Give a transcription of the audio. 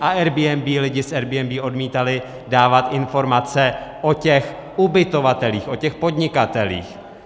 A Airbnb - lidi z Airbnb odmítali dávat informace o těch ubytovatelích, o těch podnikatelích.